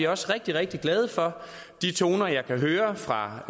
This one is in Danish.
også rigtig rigtig glade for de toner jeg kan høre fra